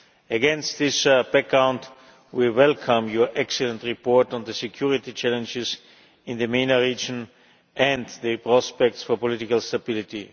Against this background, we welcome your excellent report on The security challenges in the MENA region and the prospects for political stability'.